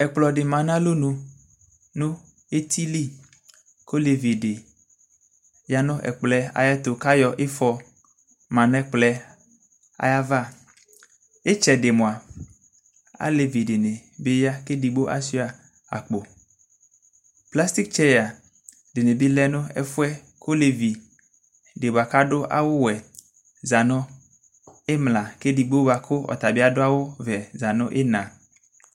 ɛkplɔ di ma n'alɔnu no eti li kò olevi di ya no ɛkplɔ yɛ ayi ɛto k'ayɔ ifɔ ma n'ɛkplɔ yɛ ayi ava itsɛdi moa alevi di ni bi ya k'edigbo asua akpo plastik tseya di ni bi lɛ no ɛfu yɛ k'olevi di boa k'adu awu wɛ za no imla k'edigbo boa kò ɔtabi adu awu vɛ za no ina